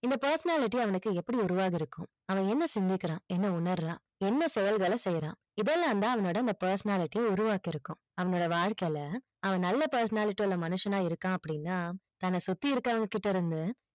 இந்த personality அவனுக்கு எப்படி உருவாக்கி இருக்கும் அவன் என்ன சிந்திக்கிறான் என்ன உன்னருறான் என்ன செயல்கள செய்யறான் இதயெல்லாம் தான் அவனோட personality உருவாகியிருக்கும் அவனோட வாழ்க்கைல அவன் நல்ல personality மனுஷன் அ இருக்கான் அப்டின்னா தன்னசுத்தி இருக்கறவங்க கிட்ட இருந்து